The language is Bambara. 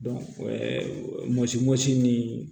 mɔsi mɔsi ni